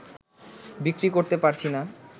বিক্রি করতে পারছিনা